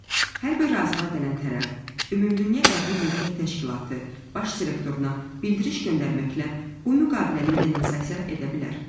Hər bir razılığa gələn tərəf Ümumdünya Əqli Mülkiyyət Təşkilatı Baş Direktoruna bildiriş göndərməklə bu müqaviləni denonsasiya edə bilər.